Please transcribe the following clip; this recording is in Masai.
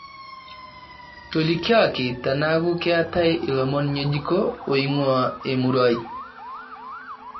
tolikioki teneeku keetae ilomon ng'ejuko oing'uaa emurua ai